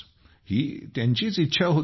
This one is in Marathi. ही त्यांचीच इच्छा होती